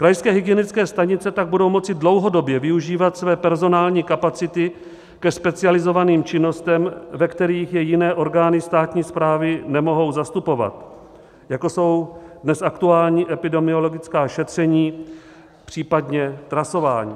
Krajské hygienické stanice tak budou moci dlouhodobě využívat své personální kapacity ke specializovaným činnostem, ve kterých je jiné orgány státní správy nemohou zastupovat, jako jsou dnes aktuální epidemiologická šetření, případně trasování.